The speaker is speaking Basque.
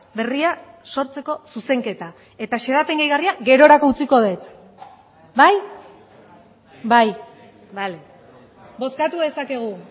berria sortzeko zuzenketa eta xedapen gehigarria gerorako utziko dut bai bai bale bozkatu dezakegu